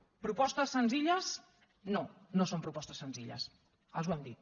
propostes senzilles no no són propostes senzilles els ho hem dit